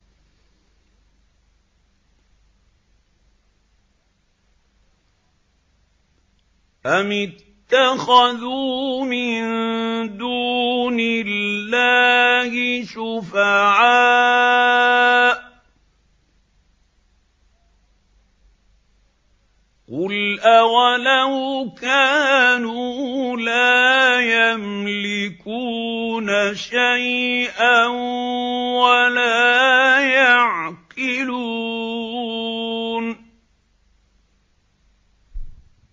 أَمِ اتَّخَذُوا مِن دُونِ اللَّهِ شُفَعَاءَ ۚ قُلْ أَوَلَوْ كَانُوا لَا يَمْلِكُونَ شَيْئًا وَلَا يَعْقِلُونَ